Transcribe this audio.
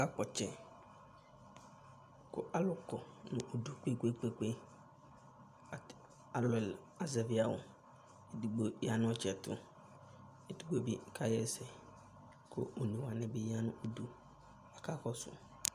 Akakpɔ ɔtsɛ kʋ alʋ kɔ nʋ udu kpe-kpe-kpe At armɛl azɛvɩ awʋ Edigbo ya nʋ ɔtsɛ yɛ tʋ Edigbo bɩ kaɣa ɛsɛ kʋ one wanɩ bɩ ya nʋ udu kʋ akakɔsʋ